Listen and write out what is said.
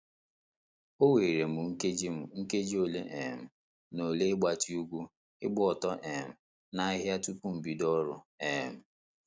O were m nkeji m nkeji ole um na ole ịgbatị ụgwụ, gba ọtọ um n'ahịhịa tupu m bido ọrụ. um